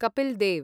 Kapil Dev